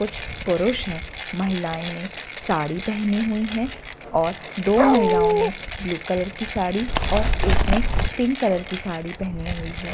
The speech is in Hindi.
कुछ पुरुष हैं महिलायें ने साड़ी पहनी हुई है और दो महिलाओ ने ब्लू कलर की साड़ी और एक ने पिंक कलर की साड़ी पहनी हुई है।